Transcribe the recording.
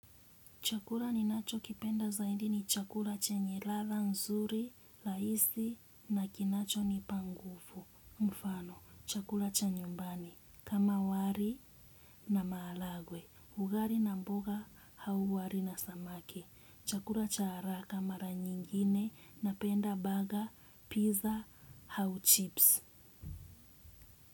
Chakula ni nacho kipenda zaidi ni chakua chenye ladha nzuri, rahisi na kinacho nipa nguvugufu. Mfano, chakura chanyumbani. Kama wali na maharagwe. Ugali na mboga au wali na samaki. Chakula cha haraka mara nyingine napenda baga, pizza, au chips.